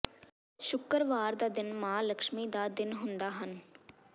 ਸ਼ੁੱਕਰਵਾਰ ਦਾ ਦਿਨ ਮਾਂ ਲਕਸ਼ਮੀ ਦਾ ਦਿਨ ਹੁੰਦਾ ਹਨ